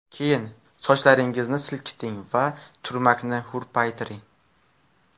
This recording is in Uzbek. Keyin sochlaringizni silkiting va turmakni hurpaytiring.